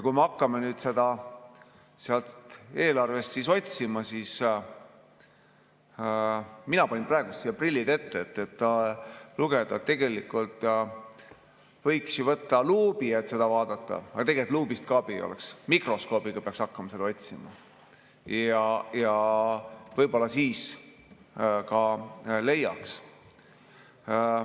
Kui me hakkame seda sealt eelarvest otsima, siis mina panin praegu prillid ette, et seda lugeda, võiks ju võtta luubi, et seda vaadata, aga tegelikult luubist ka abi ei oleks, mikroskoobiga peaks hakkama otsima ja võib-olla siis leiaks.